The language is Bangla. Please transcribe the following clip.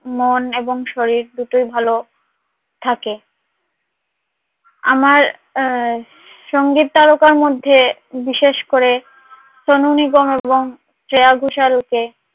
মন এবং শরীর দুটোই ভালো থাকে আমার সঙ্গীত তারকার মধ্যে বিশেষ করে সোনু নিগম শ্রেয়া ঘোষাল কে